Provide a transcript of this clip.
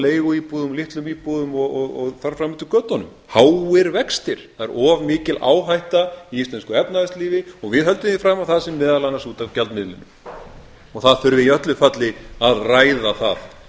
leiguíbúðum litlum íbúðum og þar fram eftir götunum háir vextir það er of mikil áhætta í íslensku efnahagslífi og við höldum því fram að það sé meðal annars út af gjaldmiðlinum og það þurfi í öllu falli að ræða það